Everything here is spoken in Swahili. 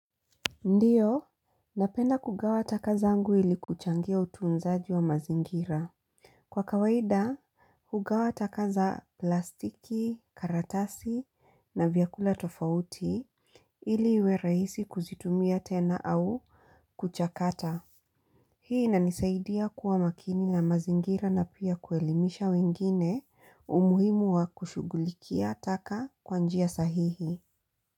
Ndio, napenda kugawa taka zaangu ili kuchangia utuunzaji wa mazingira. Kwa kawaida, hugawa taka za plastiki, karatasi na vyakula tofauti ili iwe rahisi kuzitumia tena au kuchakata. Hii inanisaidia kuwa makini na mazingira na pia kuelimisha wengine umuhimu wa kushughulikia taka kwa njia sahihi.